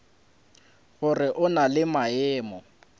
gore o na le maemo